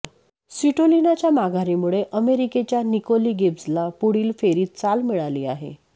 स्विटोलिनाच्या माघारीमुळे अमेरिकेच्या निकोली गिब्जला पुढील फेरीत चाल मिळाली आहे